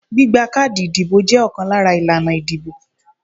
Gbígba káàdì ìdìbò jẹ́ ọ̀kan lára ìlànà ìdìbò.